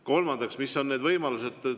Kolmandaks, mis on need võimalused?